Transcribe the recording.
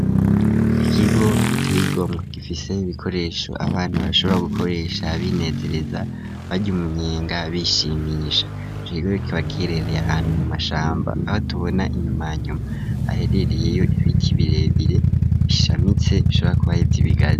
Ikigo giteye igomwe gifise ibikoresho abantu bashobora gukoresha binezereza baja umunyenga bishimisha akigoro kibagiherereye ahantu mu mashamba aho tubona inyuma yanyuma aherereyeyo ibiki birebire bishamitse bishobora kuba ari ibigazi.